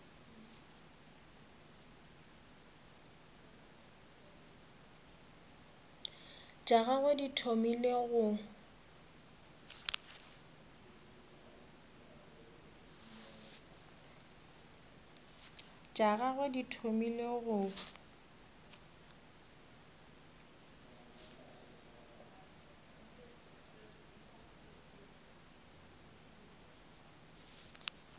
tša gagwe di thomile go